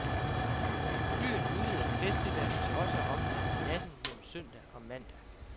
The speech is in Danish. Byen udvider festivalen til også at omfatte natten mellem søndag og mandag.